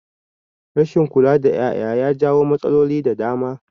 Rashin kula da ƴaƴa ya jawo matsaloli da dama